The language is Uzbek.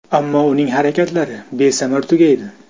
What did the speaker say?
Ammo uning harakatlari besamar tugaydi.